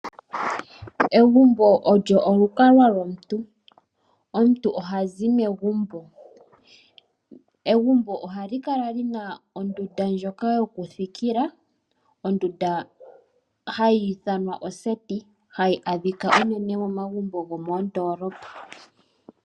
Egumbo olyo olukalwa lwomuntu, omuntu oha zi megumbo, egumbo oha li kala li na ondunda ndjoka yo ku thikila. Ondunda oha i ithanwa oseti, ha yi adhika unene momagumbo gomoondoolopa.